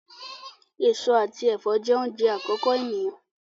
Èso àti ẹfọ jẹ oúnjẹ àkọ́kọ́ eniyan.